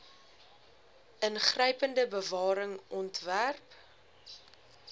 ingrypende bewaring ontwerp